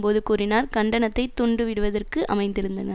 போது கூறினார் கண்டனத்தை தூண்டிவிடுவதற்கு அமைந்திருந்தன